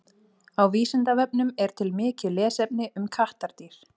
Á Vísindavefnum er til mikið lesefni um kattardýr.